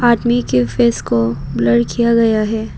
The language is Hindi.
आदमी के फेस को ब्लर किया गया है।